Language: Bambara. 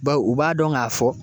Bawo u b'a dɔn k'a fɔ